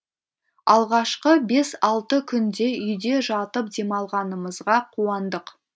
алғашқы бес алты күнде үйде жатып демалғанымызға қуандық